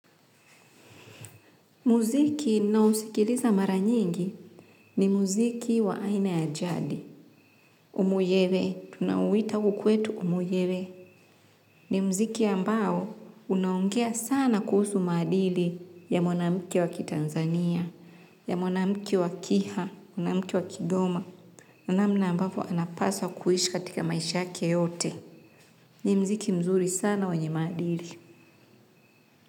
Muziki ninao sikiliza mara nyingi ni muziki wa aina ya jadi. Umuyewe, tunaoita huku kwetu umuyewe. Ni muziki ambao unaongea sana kuhusu maadili ya mwanamke wakitanzania, ya mwanamke wakiha, mwanamke wa kigoma. Na namna ambavo anapaswa kuishi katika maisha yake yote. Ni mziki mzuri sana wenye maadili.